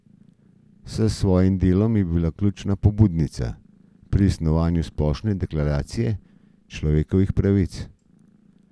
S svojim delom je bila ključna pobudnica pri snovanju Splošne deklaracije človekovih pravic.